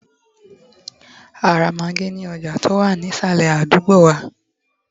a ra Maggi ní ọjà ti o wa ni isale àdúgbò wa